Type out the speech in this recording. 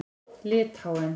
Litháen